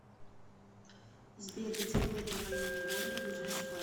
сбер где в этом районе города ближайший банк